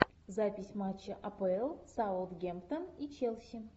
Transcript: запись матча апл саутгемптон и челси